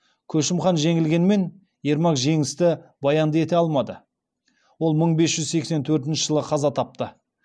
көшім хан жеңілгенмен ермак жеңісті баянды ете алмады ол мың бес жүз сексен төртінші жылы қаза тапты